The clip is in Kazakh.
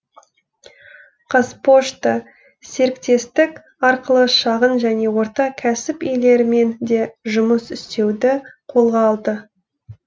қазпошта серіктестік арқылы шағын және орта кәсіп иелерімен де жұмыс істеуді қолға алды